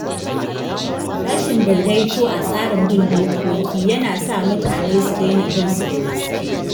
Rashin daidaito a tsarin bin dokoki yana sa mutane su daina bin su da gaske.